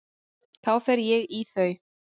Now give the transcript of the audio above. Þá fer ég í þau.